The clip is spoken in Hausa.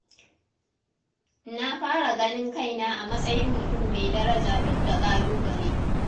Na fara ganin kaina a matsayin mutum mai daraja duk da ƙalubale.